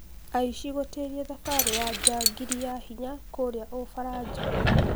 Aici gũtĩria thabari ya jagiri ya hinya kũrĩa ũfaraja